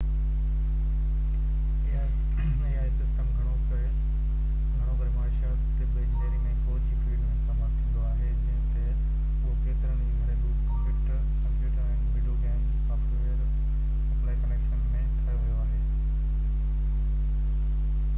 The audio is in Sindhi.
ai سسٽم هاڻي گهڻو ڪري معاشيات طب انجنيئرنگ ۽ فوج جي فليڊ ۾ استعمال ٿيندو آهي جيئن تہ اهو ڪيترن ئي گهريلو computer ۽ video game software applications ۾ ٺاهيو ويو آهي